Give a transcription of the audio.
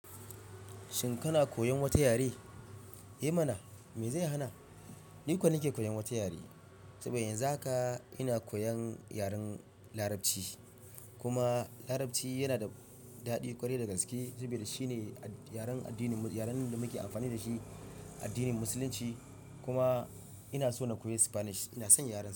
Shin kana koyan wata yare? Eh mana, me zai hana? Niko nake koyan wata yare. Saboda yanzu haka ina koyan yaren Larabci, kuma Larabci yana da daɗi ƙwarai da gaske saboda shine yaren addinin mu, yaren da muke amfani da shi addinin Musulunci. Kuma inaso na koyi Spanish. Ina son yaren.